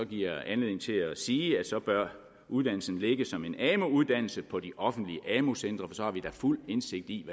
giver anledning til at sige at så bør uddannelsen ligge som en amu uddannelse på de offentlige amu centre for så har vi da fuld indsigt i